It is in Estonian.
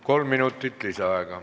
Kolm minutit lisaaega.